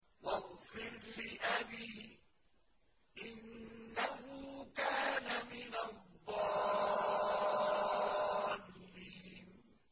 وَاغْفِرْ لِأَبِي إِنَّهُ كَانَ مِنَ الضَّالِّينَ